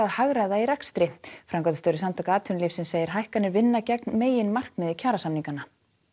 hagræða í rekstri framkvæmdastjóri Samtaka atvinnulífsins segir hækkanir vinna gegn meginmarkmiði kjarasamninga